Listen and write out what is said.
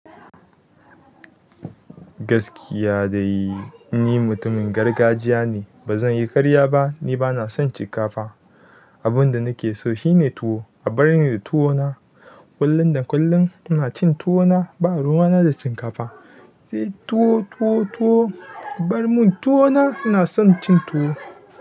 Gaskiya dai, ni mutumin gargajiya ne. Ba zan yi ƙarya ba. Ni ba na son shinkafa. Abin da nake so shine tuwo. A bar ni da tuwo na. Kullum da kullum ina cin tuwo na. Ba ruwana da shinkafa. Sai tuwo, tuwo, tuwo. Bar mun tuwo na. Ina son cin tuwo.